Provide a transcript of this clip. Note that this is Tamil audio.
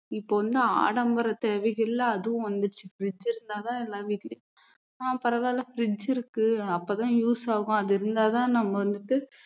இப்போ வந்து ஆடம்பர தேவைகள்ல அதுவும் வந்துருச்சு fridge இருந்தா தான் எல்லார் வீட்டிலேயும் ஆஹ் பரவால்ல fridge இருக்கு அப்போதான் use ஆகும் அது இருந்தா தான் நம்ம வந்துட்டு